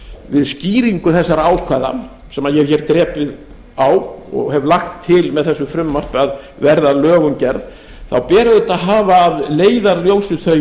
við skýringu þessara ákvæða sem ég hef drepið á og hef lagt til með þessu frumvarpi að verði að lögum gerð þá ber auðvitað að hafa að leiðarljósi